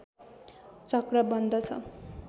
चक्र बन्दछन्